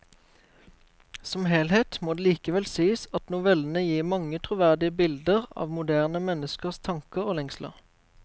Som helhet må det likevel sies at novellene gir mange troverdige bilder av moderne menneskers tanker og lengsler.